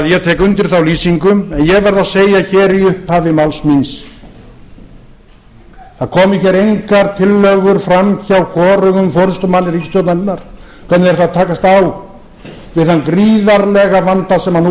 ég tek því undir þá lýsingu en ég verð að segja hér í upphafi máls míns það komu hér engar tillögur fram hjá hvorugum forustumanni ríkisstjórnarinnar hvernig þeir ætla að takast á við þann gríðarlega vanda sem nú